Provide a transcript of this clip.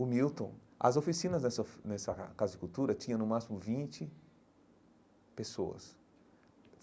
O Milton... As oficinas nessa nessa Casa de Cultura tinham, no máximo, vinte pessoas.